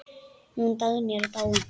Hún Dagný er dáin.